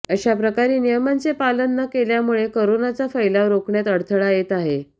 अशाप्रकारे नियमांचे पालन न केल्यामुळे करोनाचा फैलाव रोखण्यात अडथळा येत आहे